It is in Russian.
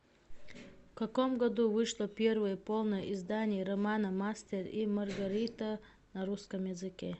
в каком году вышло первое полное издание романа мастер и маргарита на русском языке